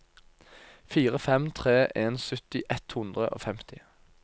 fire fem tre en sytti ett hundre og femti